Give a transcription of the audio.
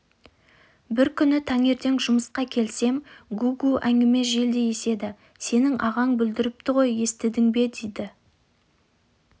бір күні таңертең жұмысқа келсем гу-гу әңгіме желдей еседі сенің ағаң бүлдіріпті ғой естідің бе дейді